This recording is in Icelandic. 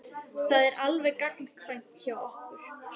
Það er alveg gagnkvæmt hjá okkur.